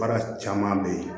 Baara caman bɛ ye